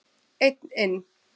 Einn inn.